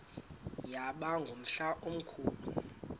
yaba ngumhla omkhulu